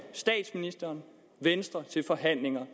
statsministeren til forhandlinger